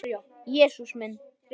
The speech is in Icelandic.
Jesús minn!